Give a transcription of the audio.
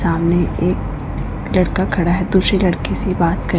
सामने एक लड़का खड़ा है दूसरी लड़की से बात कर--